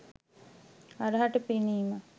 හරහට පෙනීම